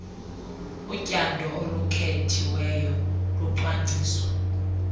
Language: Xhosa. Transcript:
utyando olukhethiweyo lucwangciswa